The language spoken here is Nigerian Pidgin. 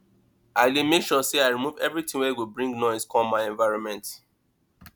i dey make sure sey i remove everytin wey go bring noise come my environment